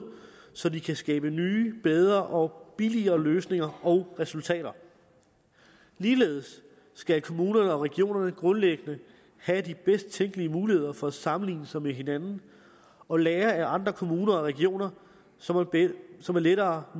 så de kan skabe nye bedre og billigere løsninger og resultater ligeledes skal kommunerne og regionerne grundlæggende have de bedst tænkelige muligheder for at sammenligne sig med hinanden og lære af andre kommuner og regioner så så man lettere